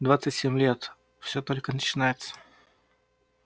двадцать семь лет все только начинается